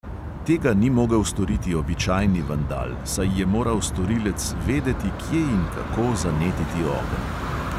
Tega ni mogel storiti običajni vandal, saj je moral storilec vedeti, kje in kako zanetiti ogenj.